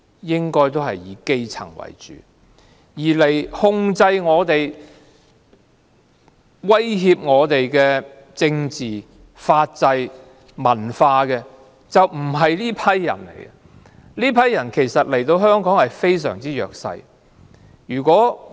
應該是以基層為主，而控制、威脅我們的政治、法制和文化的，並不是這些人，這些人其實都是弱勢人士。